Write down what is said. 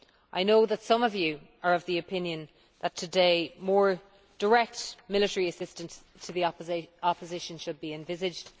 I know that some of you are of the opinion that today, more direct military assistance to the opposition should be envisaged.